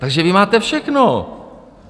Takže vy máte všechno.